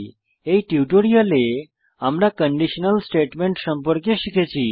এই টিউটোরিয়ালে আমরা কন্ডিশনাল স্টেটমেন্ট সম্পর্কে শিখেছি